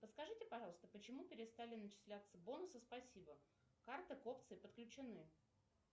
подскажите пожалуйста почему перестали начисляться бонусы спасибо карты к опции подключены